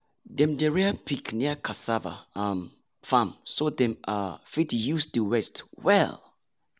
dem dey rear pig near cassava um farm so dem um fit use the waste well.